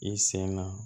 I sen na